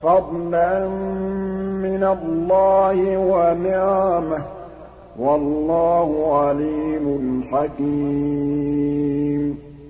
فَضْلًا مِّنَ اللَّهِ وَنِعْمَةً ۚ وَاللَّهُ عَلِيمٌ حَكِيمٌ